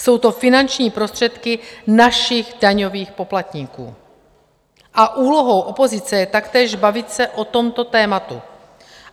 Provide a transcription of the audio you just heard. Jsou to finanční prostředky našich daňových poplatníků a úlohou opozice je taktéž bavit se o tomto tématu.